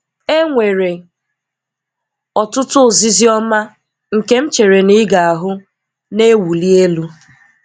È nwere ọtụtụ ozízi ọma nke m chèrè na ị ga-ahụ́ na-ewúli elu.